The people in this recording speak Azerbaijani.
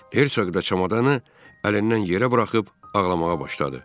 Hertsog da çamadanı əlindən yerə buraxıb ağlamağa başladı.